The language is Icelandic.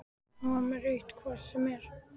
Hún var með rautt hvort sem er.